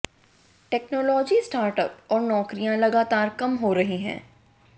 technology startup और नौकरियां लगातार कम हो रही हैं